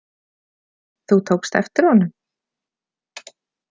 Þú tókst eftir honum?